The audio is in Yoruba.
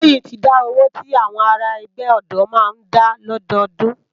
Toyin ti dá ówó ti áwòn àrá ègbè òdò má n dá lòdódùn